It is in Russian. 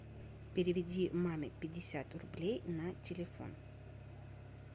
переведи маме пятьдесят рублей на телефон